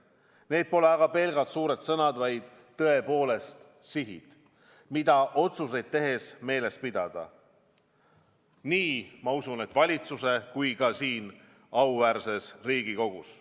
Need pole aga pelgalt suured sõnad, vaid tõepoolest sihid, mida otsuseid tehes meeles pidada nii valitsuses kui ka siin auväärses Riigikogus.